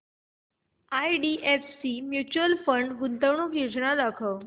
IDFC mutual fund गुंतवणूक योजना दाखव